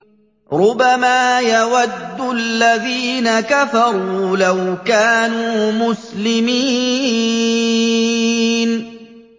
رُّبَمَا يَوَدُّ الَّذِينَ كَفَرُوا لَوْ كَانُوا مُسْلِمِينَ